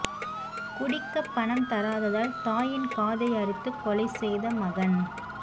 குடிக்க பணம் தராததால் தாயின் காதை அறுத்து கொலை செய்த மகன்